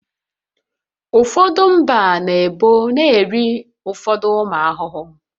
Ụfọdụ mba na ebo na-eri ụfọdụ ụmụ ahụhụ